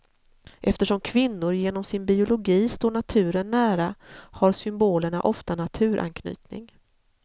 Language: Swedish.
Eftersom kvinnor genom sin biologi står naturen nära har symbolerna ofta naturanknytning.